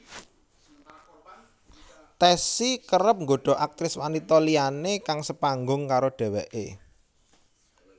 Tessy kerep nggoda aktris wanita liyané kang sepanggung karo dheweké